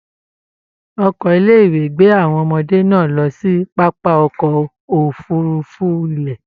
Ọkọ ilé ìwé gbé àwọn ọmọdé náà lọ sí pápá ọkọ òfurùnfu ilẹ.